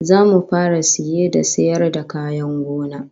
Zamu fara saye da sayar da kayan gona